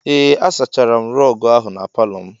Ee, a sachara m rọg ahụ n'palo m.